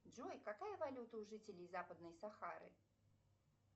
джой какая валюта у жителей западной сахары